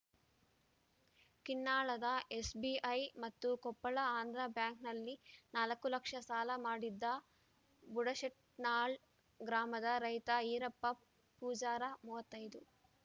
ಕಿನ್ನಾಳದ SBI ಮತ್ತು ಕೊಪ್ಪಳ ಆಂಧ್ರ ಬ್ಯಾಂಕ್‌ನಲ್ಲಿ ನಾಲ್ಕು ಲಕ್ಷ ಸಾಲ ಮಾಡಿದ್ದ ಬುಡಶೆಟ್ನಾಳ್‌ ಗ್ರಾಮದ ರೈತ ಈರಪ್ಪ ಪೂಜಾರ ಮೂವತ್ತೈದು